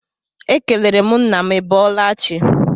Ekelere m nna m I bọọla chi.